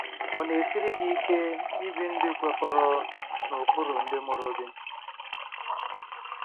Ọ̀ na-esiri gị ike ibi ndụ kwekọrọ n'ụkpụrụ ndị mụrụ gị?